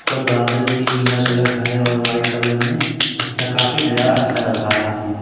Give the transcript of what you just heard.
पर बादल भी नीला कलर का है और वाइट कलर में अच्छा काफ़ी नजारा अच्छा लग रहा है ये।